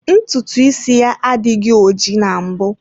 Ntutu isi ya adịghị ojii na mbụ.